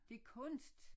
Det kunst